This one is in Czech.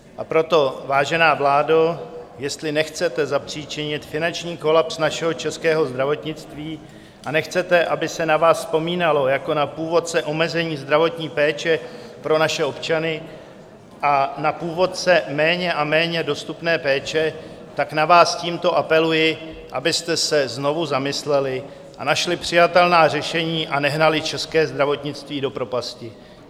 A proto, vážená vládo, jestli nechcete zapříčinit finanční kolaps našeho českého zdravotnictví a nechcete, aby se na vás vzpomínalo jako na původce omezení zdravotní péče pro naše občany a na původce méně a méně dostupné péče, tak na vás tímto apeluji, abyste se znovu zamysleli a našli přijatelná řešení a nehnali české zdravotnictví do propasti.